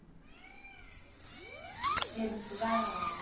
E eles estudaram onde?